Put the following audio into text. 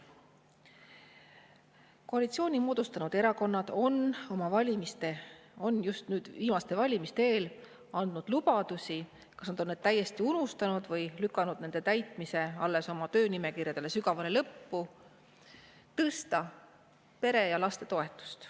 Koalitsiooni moodustanud erakonnad andsid just viimaste valimiste eel lubadusi – kas nad on need täiesti unustanud või lükanud nende täitmise alles oma töönimekirja sügavale lõppu – tõsta pere- ja lapsetoetust.